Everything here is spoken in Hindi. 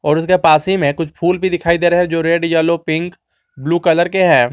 और इसके पास ही में कुछ फूल भी दिखाई दे रहे हैं जो red yellow pink blue colour के हैं।